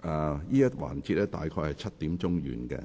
而這個環節會約於7時完結。